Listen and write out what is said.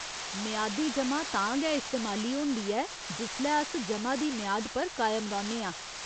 मेआदी जमा तां गै इस्तेमाली होंदी ऐ जिसलै अस जमा दी मेआद पर कायम रौह्‌न्ने आं।